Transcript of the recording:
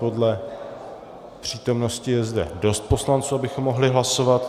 Podle přítomnosti je zde dost poslanců, abychom mohli hlasovat.